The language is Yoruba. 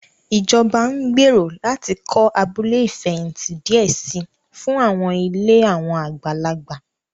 Ìjọba ń gbèrò láti kọ́ abúlé ìfẹ̀hìntì díẹ̀ si fún àwọn ilé àwọn àgbàlagbà